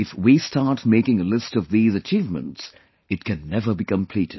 If we start making a list of these achievements, it can never be completed